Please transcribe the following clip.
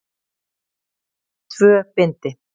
Tvö bindi.